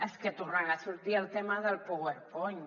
és que tornarà a sortir el tema del powerpoint